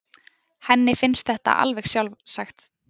Henni finnst þetta alveg sjálfsagt.